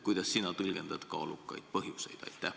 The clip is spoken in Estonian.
Kuidas sina tõlgendad "kaalukaid põhjuseid"?